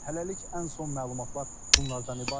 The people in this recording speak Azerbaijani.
Hələlik ən son məlumatlar bunlardan ibarətdir.